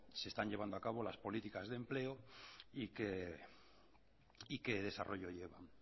se están llevando a cabo las políticas de empleo y qué desarrollo llevan